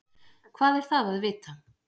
Hvað er það að vita?